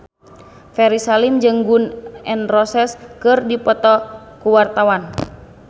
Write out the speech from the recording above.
Ferry Salim jeung Gun N Roses keur dipoto ku wartawan